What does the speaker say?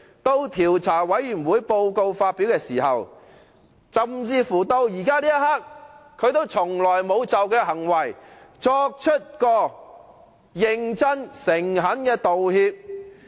在調查委員會發表報告時，甚至現時這一刻，鄭松泰也從來沒有就他的行為作出認真和誠懇的道歉。